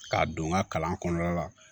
K'a don n ka kalan kɔnɔna la